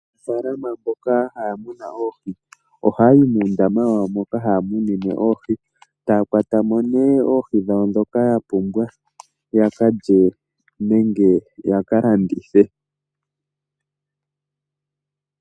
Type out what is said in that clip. Aanafalama mboka haya munu oohi oha yayi muundama wawo moka haya munine oohi taya kwatamo oohi ndhoka yapumbwa ya kalye nenge ya kalandithe.